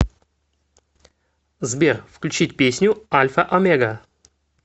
сбер включить песню альфа омега